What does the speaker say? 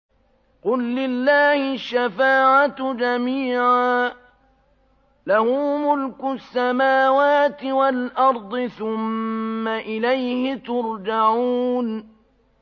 قُل لِّلَّهِ الشَّفَاعَةُ جَمِيعًا ۖ لَّهُ مُلْكُ السَّمَاوَاتِ وَالْأَرْضِ ۖ ثُمَّ إِلَيْهِ تُرْجَعُونَ